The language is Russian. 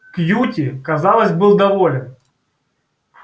кьюти казалось был доволен